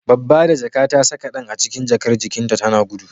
Babba da jaka ta saka ɗan a cikin jakar jikin ta tana gudu